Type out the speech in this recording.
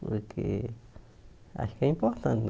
Porque acho que é importante, né?